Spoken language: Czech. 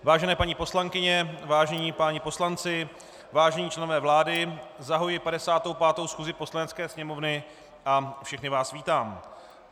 Vážené paní poslankyně, vážení páni poslanci, vážení členové vlády, zahajuji 55. schůzi Poslanecké sněmovny a všechny vás vítám.